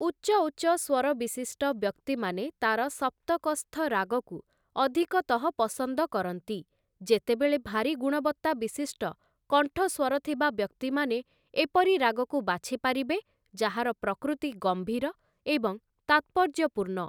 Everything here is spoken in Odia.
ଉଚ୍ଚ ଉଚ୍ଚ ସ୍ୱର ବିଶିଷ୍ଟ ବ୍ୟକ୍ତିମାନେ ତାର ସପ୍ତକସ୍ଥ ରାଗକୁ ଅଧିକତଃ ପସନ୍ଦ କରନ୍ତି, ଯେତେବେଳେ ଭାରୀ ଗୁଣବତ୍ତା ବିଶିଷ୍ଟ କଣ୍ଠସ୍ୱର ଥିବା ବ୍ୟକ୍ତିମାନେ ଏପରି ରାଗକୁ ବାଛିପାରିବେ ଯାହାର ପ୍ରକୃତି ଗମ୍ଭୀର ଏବଂ ତାତ୍ପର୍ଯ୍ୟପୂର୍ଣ୍ଣ ।